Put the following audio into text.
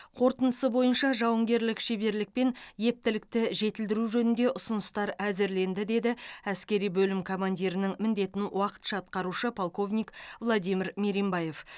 қорытындысы бойынша жауынгерлік шеберлік пен ептілікті жетілдіру жөнінде ұсыныстар әзірленді деді әскери бөлім командирінің міндетін уақытша атқарушы полковник владимир меримбаев